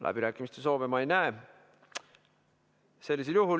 Läbirääkimiste soove ma ei näe.